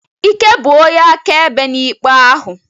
Ike bụ onye akaebe n'ikpe ahụ.